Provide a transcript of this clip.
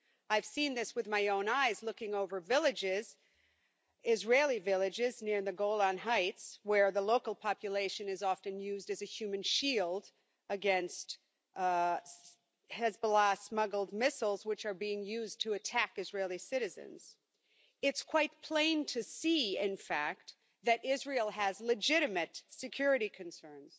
I've seen this with my own eyes, looking over villages Israeli villages near the Golan Heights, where the local population is often used as a human shield against Hezbollah smuggled missiles, which are being used to attack Israeli citizens. It's quite plain to see, in fact, that Israel has legitimate security concerns.